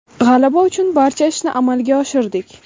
G‘alaba uchun barcha ishni amalga oshirdik.